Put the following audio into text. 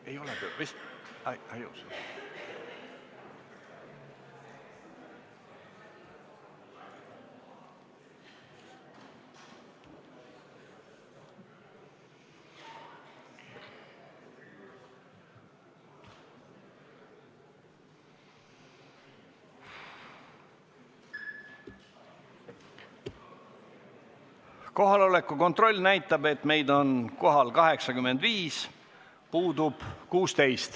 Kohaloleku kontroll Kohaloleku kontroll näitab, et meid on kohal 85, puudub 16.